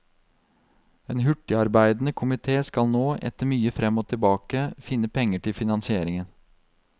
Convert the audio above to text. En hurtigarbeidende komité skal nå, etter mye frem og tilbake, finne penger til finansieringen.